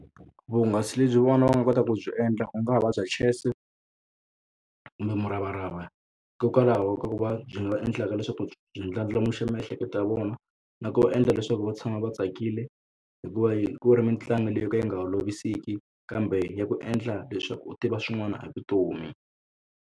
Vuhungasi lebyi vona va nga kotaka ku byi endla u nga ha va bya chess kumbe muravarava hikokwalaho ka ku va byi nga endlaka leswaku byi ndlandlamuxa miehleketo ya vona na ku va endla leswaku va tshama va tsakile hikuva hi ku ri mitlangu leyi yo ka yi nga holovisiki kambe ya ku endla leswaku u tiva swin'wana a vutomi.